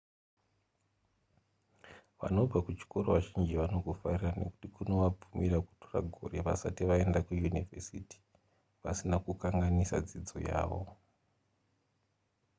vanobva kuchikoro vazhinji vanokufarira nekuti kunovabvumira kutora gore vasati vaenda kuyunivhesiti vasina kukanganisa dzidzo yavo